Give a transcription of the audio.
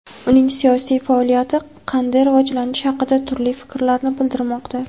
uning siyosiy faoliyati qanday rivojlanishi haqida turli fikrlarni bildirmoqda.